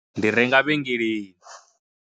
Ndi renga vhengeleni.